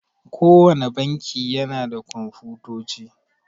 Kowanne banki yana da Komfutoci.